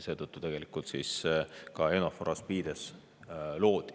Seetõttu tegelikult EUNAVFOR ASPIDES loodi.